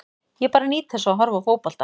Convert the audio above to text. Ég bara nýt þess að horfa á fótbolta.